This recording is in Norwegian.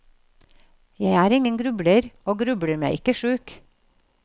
Jeg er ingen grubler, og grubler meg ikke sjuk.